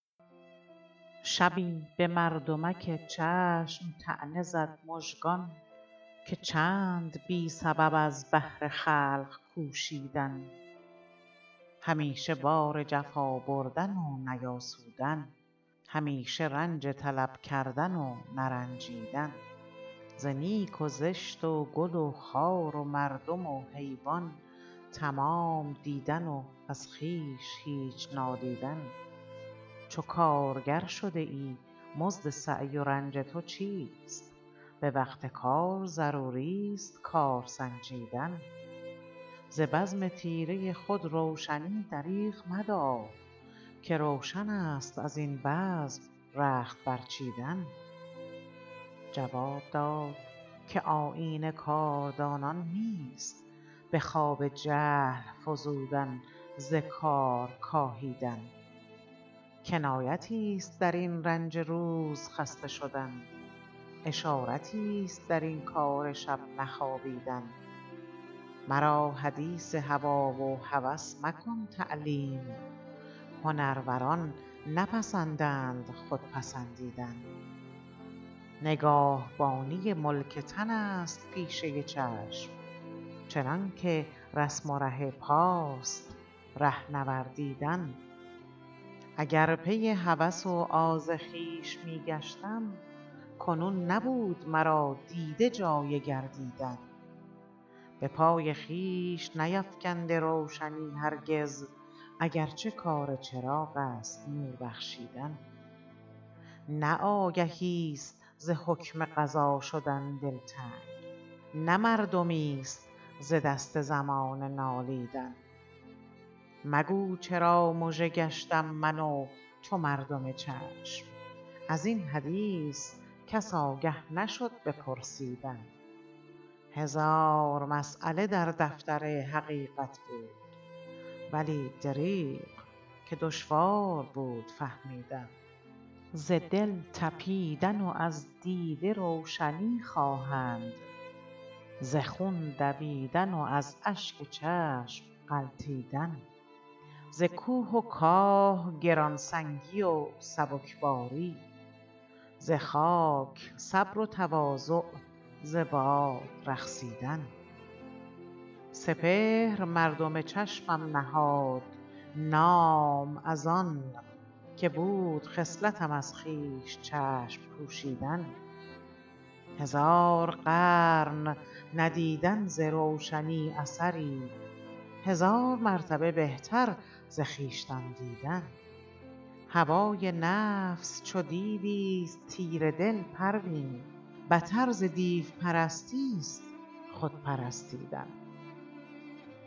شبی بمردمک چشم طعنه زد مژگان که چند بی سبب از بهر خلق کوشیدن همیشه بار جفا بردن و نیاسودن همیشه رنج طلب کردن و نرنجیدن ز نیک و زشت و گل و خار و مردم و حیوان تمام دیدن و از خویش هیچ نادیدن چو کارگر شده ای مزد سعی و رنج تو چیست بوقت کار ضروری است کار سنجیدن ز بزم تیره خود روشنی دریغ مدار که روشنست ازین بزم رخت برچیدن جواب داد که آیین کاردانان نیست بخواب جهل فزودن ز کار کاهیدن کنایتی است درین رنج روز خسته شدن اشارتی است درین کار شب نخوابیدن مرا حدیثی هوی و هوس مکن تعلیم هنروران نپسندند خود پسندیدن نگاهبانی ملک تن است پیشه چشم چنانکه رسم و ره پاست ره نوردیدن اگر پی هوس و آز خویش میگشتم کنون نبود مرا دیده جای گردیدن بپای خویش نیفکنده روشنی هرگز اگرچه کار چراغ است نور بخشیدن نه آگهیست ز حکم قضا شدن دلتنگ نه مردمی است ز دست زمانه نالیدن مگو چرا مژه گشتم من و تو مردم چشم ازین حدیث کس آگه نشد بپرسیدن هزار مسیله در دفتر حقیقت بود ولی دریغ که دشوار بود فهمیدن ز دل تپیدن و از دیده روشنی خواهند ز خون دویدن و از اشک چشم غلتیدن ز کوه و کاه گرانسنگی و سبکباری ز خاک صبر و تواضع ز باد رقصیدن سپهر مردم چشمم نهاد نام از آن که بود خصلتم از خویش چشم پوشیدن هزار قرن ندیدن ز روشنی اثری هزار مرتبه بهتر ز خویشتن دیدن هوای نفس چو دیویست تیره دل پروین بتر ز دیو پرستی است خودپرستیدن